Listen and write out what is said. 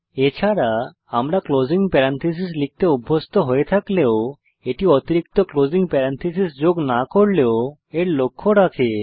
এছাড়া আমরা closing parenthesis লিখতে অভ্যস্ত হয়ে থাকলেও এটি অতিরিক্ত ক্লোসিং প্যারেনথেসিস যোগ না করলেও এর লক্ষ্য রাখে